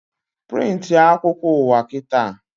Prịntị a akwụkwọ ụwa kịta!